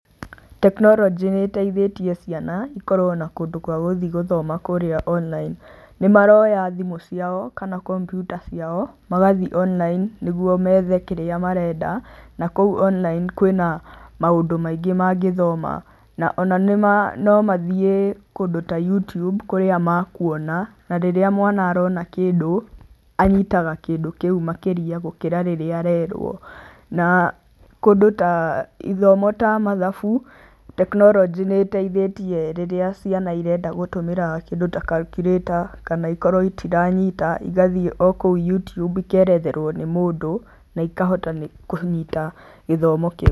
Tekinoronjĩ nĩ ĩteithĩtie ciana ikorwo na kũndũ kwa kũthi gũthoma kũrĩa online. Nĩmaroya thimũ ciao kana kompiuta ciao magathi online nĩguo methe kĩrĩa marenda na kũu online kwĩna maũndũ maingĩ mangĩthoma, ona no mathiĩ kũndũ ta Youtube kũrĩa makuona, na rĩrĩa mwana arona kĩndũ, anyitaga kĩndũ kĩu makĩria gũkĩra rĩrĩa arerwo. Na kũndũ ta, ithomo ta mathabu, tekinoronjĩ nĩ ĩteithĩtie rĩrĩa ciana irenda gũtũmĩra kĩndũ ta calculator kana ikorwo itiranyita igathiĩ o kũu Youtube ikeretherwo nĩ mũndũ na ikahota kũnyita gĩthomo kĩu.